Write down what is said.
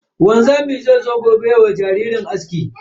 Wanzamin zai zo gobe yayi wa jaririn aski.